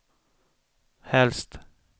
helst